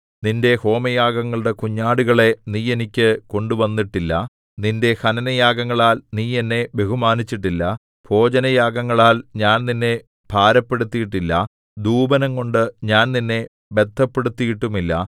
നിന്റെ ഹോമയാഗങ്ങളുടെ കുഞ്ഞാടുകളെ നീ എനിക്ക് കൊണ്ടുവന്നിട്ടില്ല നിന്റെ ഹനനയാഗങ്ങളാൽ നീ എന്നെ ബഹുമാനിച്ചിട്ടില്ല ഭോജനയാഗങ്ങളാൽ ഞാൻ നിന്നെ ഭാരപ്പെടുത്തിയിട്ടില്ല ധൂപനം കൊണ്ട് ഞാൻ നിന്നെ ബദ്ധപ്പെടുത്തിയിട്ടുമില്ല